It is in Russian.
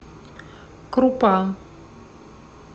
крупа